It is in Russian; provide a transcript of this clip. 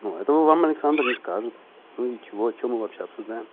ну этого вам александр не скажет ну и чего чего мы вообще обсуждаем